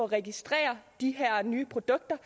registrere de her nye produkter